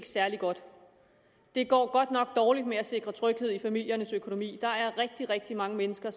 særlig godt det går godt nok dårligt med at sikre tryghed i familiernes økonomi der er rigtig rigtig mange mennesker